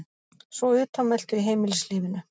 Svo utanveltu í heimilislífinu.